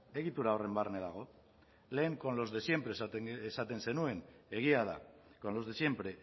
egitura horren barne dago lehen con los de siempre esaten zenuen egia da con los de siempre